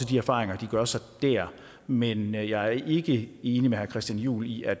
de erfaringer de gør sig der men jeg er ikke enig med herre christian juhl i at